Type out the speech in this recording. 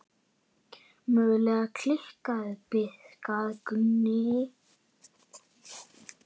Mögulega kallaður bikar Gunni?